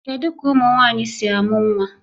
Kedu ka ụmụ nwanyị si a mụ nwa?